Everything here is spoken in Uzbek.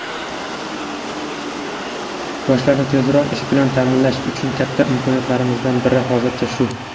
Yoshlarni tezroq ish bilan taʼminlash uchun katta imkoniyatlarimizdan biri hozircha shu.